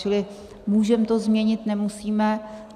Čili můžeme to změnit, nemusíme.